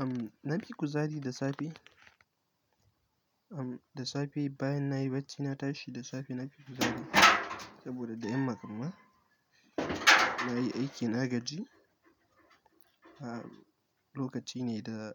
Am, na fi kuzari da safe, am, da safe bayan nayi bacci na tashi da safe na fi kuzari saboda da yamma kamma nayi aiki na gaji. Ha, lokaci ne da